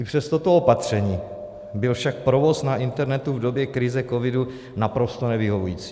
I přes toto opatření byl však provoz na internetu v době krize covidu naprosto nevyhovující.